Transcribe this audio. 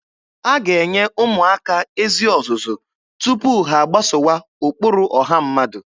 A ga-enye ụmụaka ezi ọzụzụ tupu ha agbasowa ụkpụrụ ọha mmadụ.